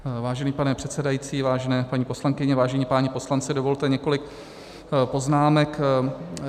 Vážený pane předsedající, vážené paní poslankyně, vážení páni poslanci, dovolte několik poznámek.